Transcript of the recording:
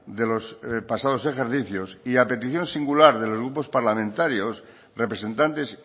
de los pasados ejercicios y a petición singular de los grupos parlamentarios representantes